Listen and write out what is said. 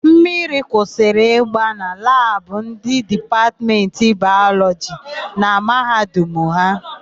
Mmiri kwụsịrị ịgba na labụ ndị Dipatmentị Bayọlọjị na Mahadum ha.